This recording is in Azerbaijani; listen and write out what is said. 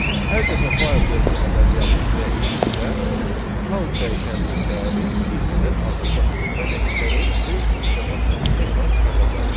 Hər dəfə while dövrü əməliyyat icra etdikdə, count dəyişəninin dəyəri bir ədəd artacaq və nəticəni print funksiya vasitəsilə ekrana çıxardacağıq.